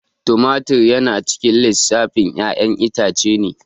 Tomatur yana cikin lissafin ƴayan itace ne